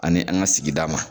Ani an ka sigida ma